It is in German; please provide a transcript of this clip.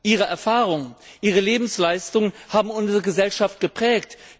Last. Ihre Erfahrungen, ihre Lebensleistung haben unsere Gesellschaft geprägt.